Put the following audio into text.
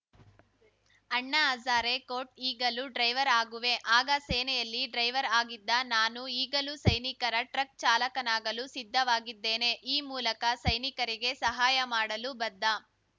ಅಣ್ಣಾ ಹಜಾರೆ ಕೋಟ್‌ ಈಗಲೂ ಡ್ರೈವರ್‌ ಆಗುವೆ ಆಗ ಸೇನೆಯಲ್ಲಿ ಡ್ರೈವರ್‌ ಆಗಿದ್ದ ನಾನು ಈಗಲೂ ಸೈನಿಕರ ಟ್ರಕ್‌ ಚಾಲಕನಾಗಲು ಸಿದ್ಧವಾಗಿದ್ದೇನೆ ಈ ಮೂಲಕ ಸೈನಿಕರಿಗೆ ಸಹಾಯ ಮಾಡಲು ಬದ್ಧ